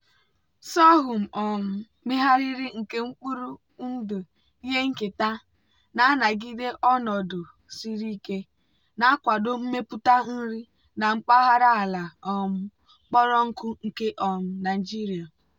sorghum um megharịrị nke mkpụrụ ndụ ihe nketa na-anagide ọnọdụ siri ike na-akwado mmepụta nri na mpaghara ala um kpọrọ nkụ nke um nigeria.